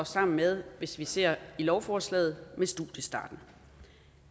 sammen med hvis vi ser i lovforslaget studiestarten